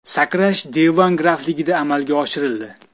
Sakrash Devon grafligida amalga oshirildi.